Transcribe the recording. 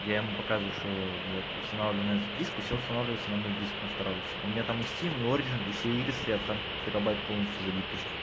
я ему показываю что вот устанавливаю на этот диск и всё устанавливается на мой диск на второй и всё у меня там стим и орджин и все игры стоят там терабайт полностью забит почти